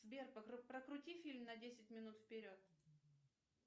сбер прокрути фильм на десять минут вперед